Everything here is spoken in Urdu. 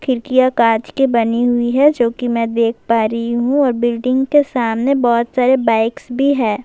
کھڑکیاں کانچ کی بنی ہوئی ہیں جو کہ میں دیکھ پا رہی ہوں اور بلڈنگ کے سامنے بہت ساری بائک بھی ہیں-